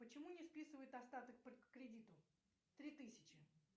почему не списывают остаток по кредиту три тысячи